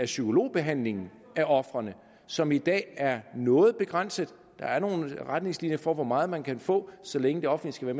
psykologbehandlingen til ofrene som i dag er noget begrænset der er nogle retningslinjer for hvor meget psykologhjælp man kan få så længe det offentlige